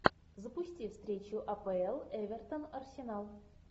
запусти встречу апл эвертон арсенал